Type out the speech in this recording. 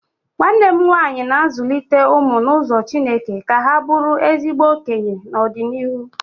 Nwanne m nwaanyị na-azụlite ụmụ n'ụzọ chineke ka ha bụrụ ezigbo okenye n'ọdịnịhu